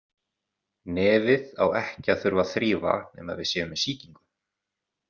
Nefið á ekki að þurfa að þrífa nema við séum með sýkingu.